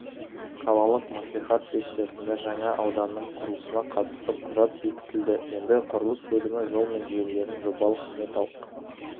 қалалық мәслихат сессиясында жаңа ауданның құрылысына қатысты құжат бекітілді енді құрылыс бөлімі жол мен желілердің жобалық-сметалық